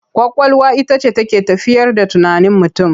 Ƙwaƙwalwa ita ce take tafiyar da tunanin mutum.